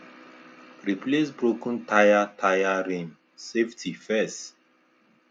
replace broken tyre tyre rim safety first